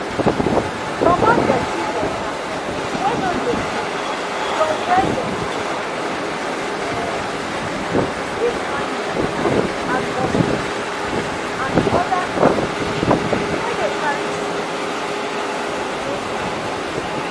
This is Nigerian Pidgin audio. comot dirty water wey no dey move from where dem dey um keep animals and mosquito and other insects wey dey carry sickness no go plenty.